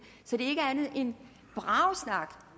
så det er ikke andet end bragesnak